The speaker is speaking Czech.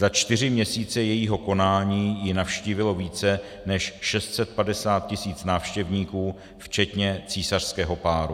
Za čtyři měsíce jejího konání ji navštívilo více než 650 tis. návštěvníků včetně císařského páru.